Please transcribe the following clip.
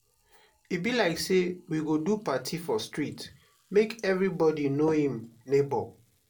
e be like sey we go do party for street make everybodi know im nebor.